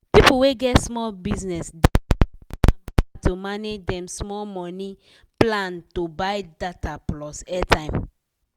people wey get small business dey find ahm hard to manage dem small money plan to buy data plus airtime.